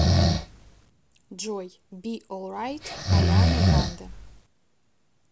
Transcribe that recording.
джой би олрайт ариана гранде